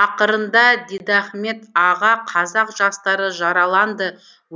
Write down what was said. ақырында дидахмет аға қазақ жастары жараланды